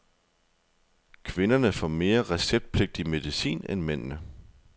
Kvinderne får mere receptpligtig medicin end mændene.